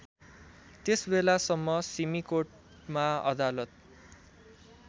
त्यसबेलासम्म सिमीकोटमा अदालत